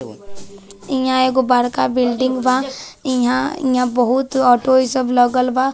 इहां एगो बड़का बिल्डिंग बा इहां इहां बहुत ऑटो ई सब लगल बा।